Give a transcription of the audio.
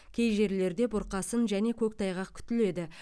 кей жерлерде бұрқасын және көктайғақ күтіледі